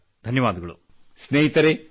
ಧನ್ಯವಾದಗಳು ಸರ್ ಧನ್ಯವಾದಗಳು